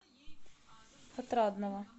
отрадного